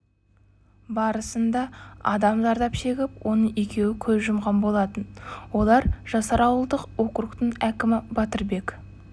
барысында адам зардап шегіп оның екеуі көз жұмған болатын олар жасар ауылдық округтің әкімі батырбек